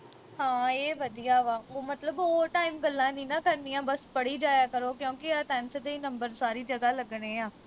ਹਾਂ ਇਹ ਵਧੀਆ ਵਾ ਉਹ ਮਤਲਬ ਉਹ time ਗੱਲਾਂ ਨੀ ਨਾ ਕਰਨੀਆਂ ਬਸ ਪੜੀ ਜਾਇਆ ਕਰੋ ਕਿਉਕਿ ਯਾਰ tenth ਦੇ ਈ ਨੰਬਰ ਸਾਰੀ ਜਗ੍ਹਾ ਲੱਗਣੇ ਆ